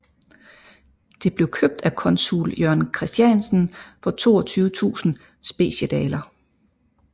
Det blev købt af consul Jørgen Christiansen for 22000 Speciedaler